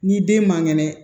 Ni den man kɛnɛ